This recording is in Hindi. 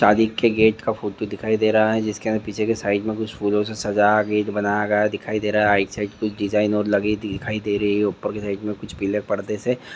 सदी के गेट का फोटो दिखाया दे रहा है। जिसके पीछे के साइड फूलो के साइड राइट साइड कुछ डिज़ाइन लगे दिखाई दे रहे है।। ऊपर के साइड से कुछ पीले पदादेसे--